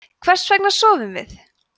hvers vegna sofum við